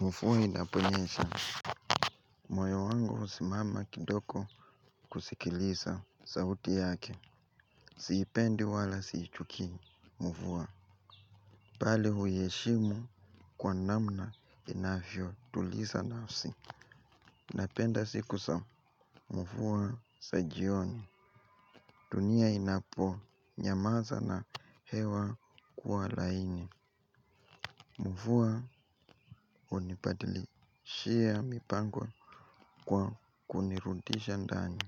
Mvua inaponyesha. Moyo wangu husimama kidogo kusikiliza sauti yake. Siipendi wala siichukii. Mvua. Bali huyaheshimu kwa namna inavyo tuliza nafsi. Napenda siku za mvua za jioni. Dunia inapo nyamaza na hewa kua laini. Mvua unibadilishia mipango kwa kunirudisha ndani.